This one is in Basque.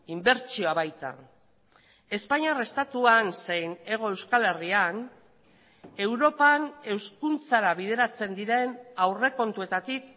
inbertsioa baita espainiar estatuan zein hego euskal herrian europan hezkuntzara bideratzen diren aurrekontuetatik